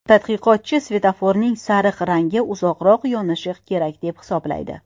Tadqiqotchi svetoforning sariq rangi uzoqroq yonishi kerak deb hisoblaydi.